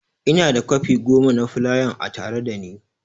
Ina da kwafi goma na fulayan a tare da ni.